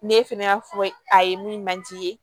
Ne fɛnɛ y'a fɔ a ye min man di